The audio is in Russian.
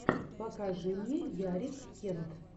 покажи мне ярик кент